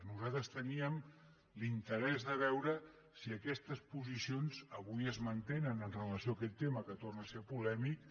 nosaltres teníem l’interès de veure si aquestes posicions avui es mantenen amb relació a aquest tema que torna a ser polèmic